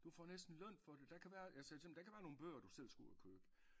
Du får næsten løn for det der kan være jeg sagde til dem der kan være nogen bøger du selv skal ud og købe